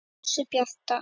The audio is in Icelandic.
Ljósið bjarta!